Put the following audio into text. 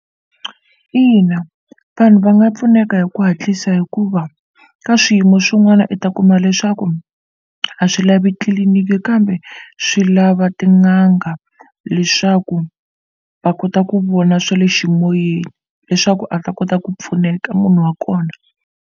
Ina, vanhu va nga pfuneka hi ku hatlisa hikuva ka swiyimo swin'wana u ta kuma leswaku a swi lavi tliliniki kambe swi lava tin'anga leswaku va kota ku vona swa le eximoyeni leswaku a ta kota ku pfuneka munhu wa kona.